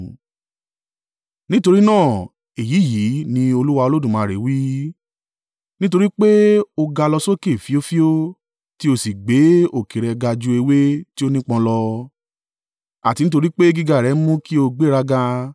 “ ‘Nítorí náà, èyí yìí ní Olúwa Olódùmarè wí: Nítorí pé ó ga lọ sókè fíofío, tí ó sì gbé òkè rẹ̀ ga ju ewé tí ó nípọn lọ, àti nítorí pé gíga rẹ mú kí ó gbéraga,